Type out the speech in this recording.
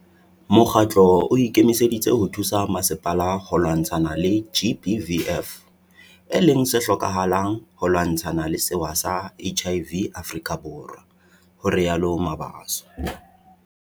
"Mokgatlo o ikemiseditse ho thusa masepala ho lwantshana le GBVF e leng se hlokahalang ho lwantshana le sewa sa HIV Afrika Borwa," ho rialo Mabaso.